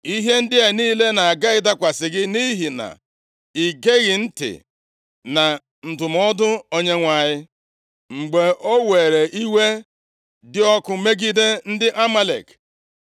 Ihe ndị a niile na-aga ịdakwasị gị nʼihi na i geghị ntị na ndụmọdụ Onyenwe anyị, mgbe o were iwe dị ọkụ megide ndị Amalek.